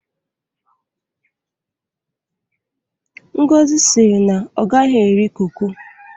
ngozi siri na o gaghi eri koko